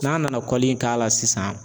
N'a nana kɔli k'a la sisan